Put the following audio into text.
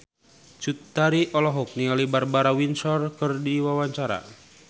Cut Tari olohok ningali Barbara Windsor keur diwawancara